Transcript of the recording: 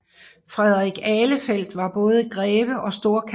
Frederik Ahlefeldt var både greve og storkansler